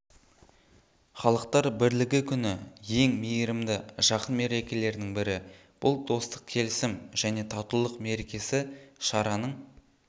халықтар бірлігі күні ең мейірімді жарқын мерекелердің бірі бұл достық келісім және татулық мерекесі шараның